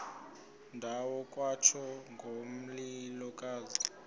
ndawo kwatsho ngomlilokazi